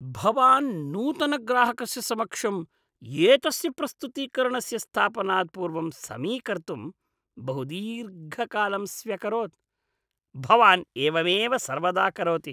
भवान् नूतनग्राहकस्य समक्षम् एतस्य प्रस्तुतीकरणस्य स्थापनात् पूर्वं समीकर्तुं बहुदीर्घकालं स्व्यकरोत्। भवान् एवमेव सर्वदा करोति।